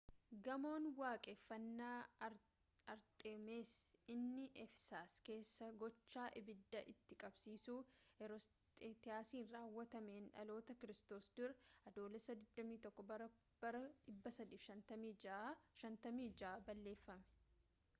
gamoon waaqeffannaa arxeemis inni efesas keessaa gocha ibidda itti qabsiisuu heeroosxiraatasiin raawwatameen dhaloota kiristoos dura adoolessa 21 bara 356 balleeffame